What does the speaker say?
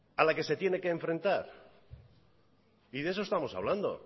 a la que se tiene que presentar y de eso estamos hablando